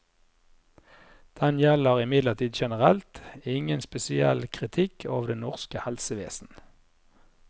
Den gjelder imidlertid generelt, ingen spesiell kritikk av det norske helsevesen.